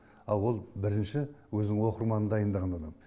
а ол бірінші өзінің оқырманын дайындаған адам